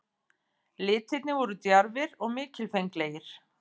Litirnir voru djarfir og mikilfenglegir.